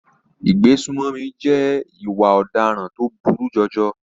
Ìgbésùnmọ̀mí jẹ́ ìwà ọ̀daràn tó burú jọjọ.